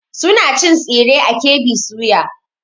Suna cin tsire a KB soya.